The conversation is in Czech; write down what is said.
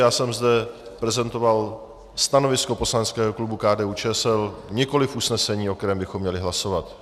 Já jsem zde prezentoval stanovisko poslaneckého klubu KDU-ČSL, nikoliv usnesení, o kterém bychom měli hlasovat.